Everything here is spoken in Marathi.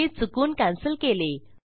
मी चुकून कॅन्सल केले